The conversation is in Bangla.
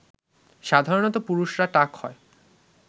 সাধারণত পুরুষরা টাক হয়